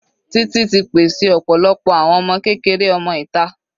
Títì ti pèsè ọ̀pọ̀lọpọ̀ àwọn ọmọ kékeré ọmọ ìta.